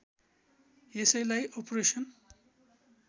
यसैलाई अपरेसन